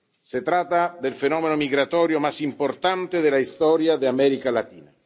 Se trata del fenómeno migratorio más importante de la historia de América Latina.